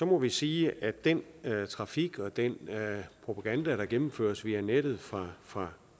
må vi sige at den trafik og den propaganda der gennemføres via nettet fra fra